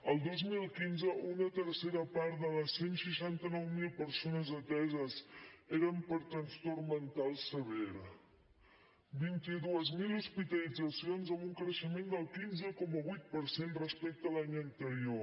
el dos mil quinze una tercera part de les cent i seixanta nou mil persones ateses eren per trastorn mental sever vint dos mil hospitalitzacions amb un creixement del quinze coma vuit per cent respecte a l’any anterior